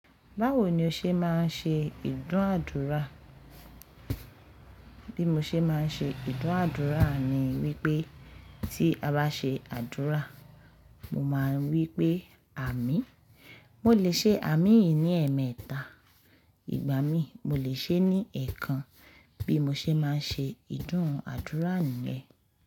Báwo ni o ṣe máa ń ṣe ìdúnàádúrà? Bí mo ṣe máa ń ṣe ìdúnàádúrà ni wípé tí a bá ṣe àdúrà, mo máa ń wí pé àmín. Mo lè ṣe àmín yìí ní ẹ̀ẹ́mẹ̀ta ìgbà mí, mo lè ṣe é ní ẹ̀ẹ̀kan bí mo ṣe máa ń ṣe ìdúnàádúrà niyen.